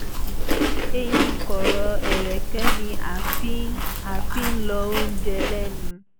eyín kọ̀rọ̀ ẹ̀rẹ̀kẹ́ ni a fi ń a fi ń lọ oúnjẹ lẹ́nu